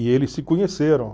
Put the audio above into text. E eles se conheceram.